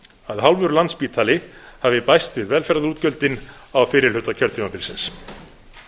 að hálfur landspítali hafi bæst við velferðarútgjöldin á fyrri hluta kjörtímabilsins